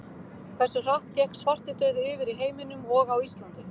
Hversu hratt gekk svartidauði yfir í heiminum og á Íslandi?